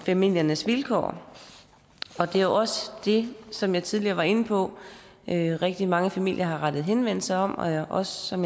familiernes vilkår det er jo også det som jeg tidligere var inde på at rigtig mange familier har rettet henvendelse om og og som